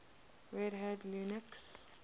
red hat linux